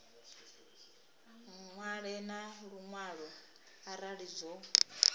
ṅwale na luṅwalo arali zwo